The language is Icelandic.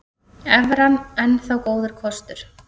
Evran enn þá góður kostur